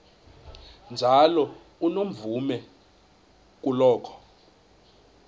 njalo unomvume kuloko